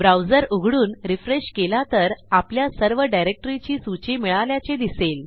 browser उघडून refresh केला तर आपल्या सर्व डिरेक्टरीची सूची मिळाल्याचे दिसेल